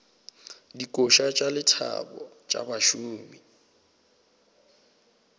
dikoša tša lethabo tša bašomi